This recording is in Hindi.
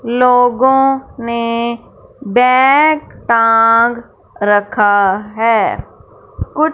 लोगों ने बैग टांग रखा है कुछ--